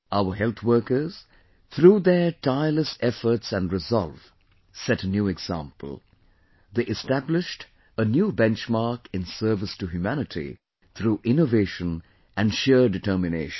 Our health workers, through their tireless efforts and resolve, set a new example...they established a new benchmark in service to humanity through innovation and sheer determination